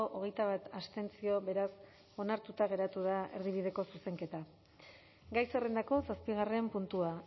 hogeita bat abstentzio beraz onartuta geratu da erdibideko zuzenketa gai zerrendako zazpigarren puntua